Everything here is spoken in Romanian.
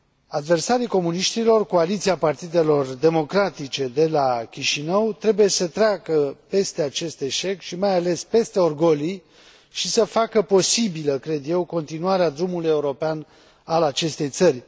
Adversarii comuniștilor, coaliția partidelor democratice de la Chișinău, trebuie să treacă peste acest eșec și, mai ales, peste orgolii și să facă posibilă, cred eu, continuarea drumului european al acestei țări.